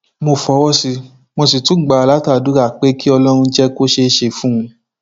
mo fọwọ sí i mo sì tún gbà á látàdúrà pé kí ọlọrun jẹ kó ṣeé ṣe fún un